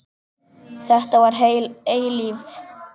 Þetta var heil eilífð.